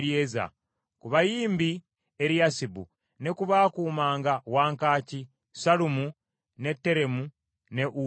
Ku bayimbi: Eriyasibu, ne ku baakuumanga wankaaki: Sallumu, ne Teremu ne Uli.